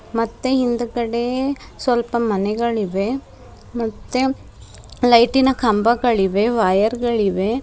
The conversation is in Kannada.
ಮತ್ತೆ ಹಿಂದ್ ಗಡೆ ಸ್ವಲ್ಪ ಮನೆಗಳಿವೆ ಮತ್ತೆ ಲೈಟಿ ನ ಕಂಬಗಳಿವೆ ವೈಯರ್ ಗಳಿವೆ --